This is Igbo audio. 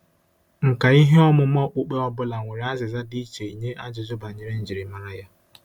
Nkà ihe ọmụma okpukpe ọ bụla nwere azịza dị iche nye ajụjụ banyere njirimara ya.